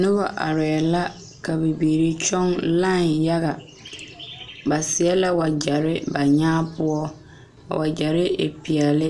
Noba arɛɛ la ka bibiiri kyɔŋ lae yaga ba seɛ la wagyere ba nyaa poɔ wagyere e peɛle